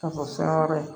Ka fɔ fɛn wɛrɛ ye